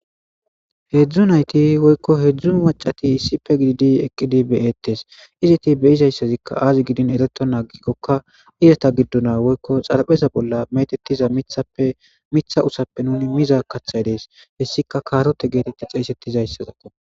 heedzdzunayti woykko maccati issippe gididi be7eettes izeti be7izayssazi aazigidikkonne ereto ixxikkokka izeta giddon woykko xarapheeza bollan meetettiza mithappemitha utha nuni mizayssi dees. hessikka kaarote geetettizayssazakko.